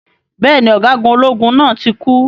Bẹ́ẹ̀ni, Ọ̀gágun ológun náà tí kú.